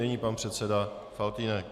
Nyní pan předseda Faltýnek.